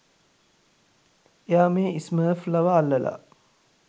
එයා මේ ස්මර්ෆ්ලව අල්ලලා